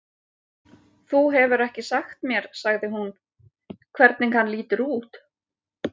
Þú hefur ekki sagt mér sagði hún, hvernig hann lítur út